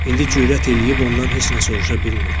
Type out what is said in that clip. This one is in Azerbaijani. İndi cürət eləyib ondan heç nə soruşa bilmirdim.